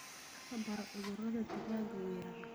Wax ka baro cudurada digaaga weerara.